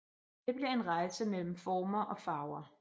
Det bliver en rejse mellem former og farver